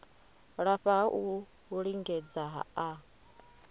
lafha ha u lingedza a